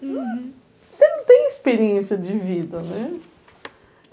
Uhum. Você não tem experiência de vida, né?